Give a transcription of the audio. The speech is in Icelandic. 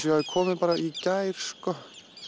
ég hafi komið bara í gær sko